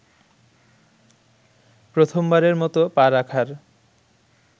প্রথমবারের মতো পা রাখার